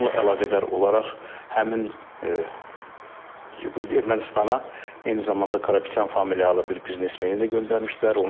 Bununla əlaqədar olaraq həmin Ermənistana eyni zamanda Karapetyan familiyalı bir biznesmeni də göndərmişdilər.